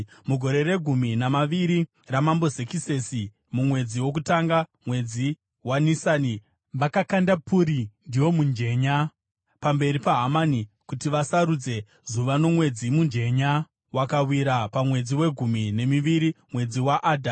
Mugore regumi namaviri raMambo Zekisesi mumwedzi wokutanga, mwedzi waNisani, vakakanda puri (ndiwo mujenya) pamberi paHamani kuti vasarudze zuva nomwedzi. Mujenya wakawira pamwedzi wegumi nemiviri, mwedzi waAdha.